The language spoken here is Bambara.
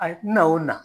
A ye n na o na